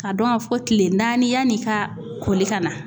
K'a dɔn ka fɔ kile naani yanni ka koli ka na.